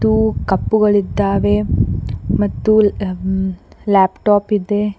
ಹಾಗು ಕಪ್ಪುಗಳಿದ್ದಾವೆ ಮತ್ತು ಲ್ಯಾಪ್ಟಾಪ್ ಇದೆ.